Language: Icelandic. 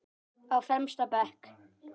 Á fremsta bekk.